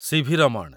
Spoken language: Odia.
ସି.ଭି. ରମଣ